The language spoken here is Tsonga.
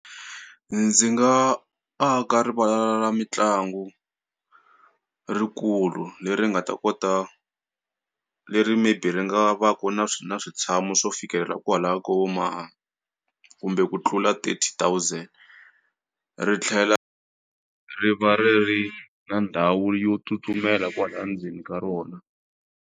Ndzi nga aka rivala ra mitlangu rikulu leri nga ta kota leri maybe ri nga va ku na na switshamo swo fikelela kwalaya ka vo ma kumbe ku tlula thirty thousand ri tlhela ri va ri ri na ndhawu yo tsutsumela kwala ndzeni ka rona.